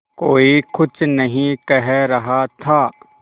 कोई कुछ नहीं कह रहा था